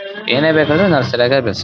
ಏನೇ ಬೇಕಂದ್ರು ನರ್ಸರಿಯಾಗ ಬೆಸ್ಟ್ .